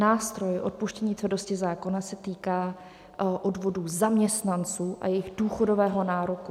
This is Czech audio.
Nástroj odpuštění tvrdosti zákona se týká odvodů zaměstnanců a jejich důchodového nároku.